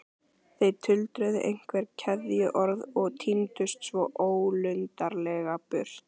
Þeir tuldruðu einhver kveðjuorð og tíndust svo ólundarlega burt.